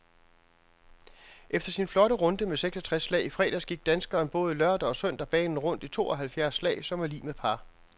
Efter sin flotte runde med seksogtres slag i fredags gik danskeren både lørdag og søndag banen rundt i tooghalvfjerds slag, som er lig med par.